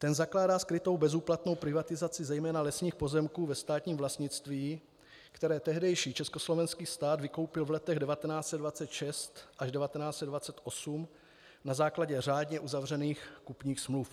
Ten zakládá skrytou bezúplatnou privatizaci zejména lesních pozemků ve státním vlastnictví, které tehdejší československý stát vykoupil v letech 1926 až 1928 na základě řádně uzavřených kupních smluv.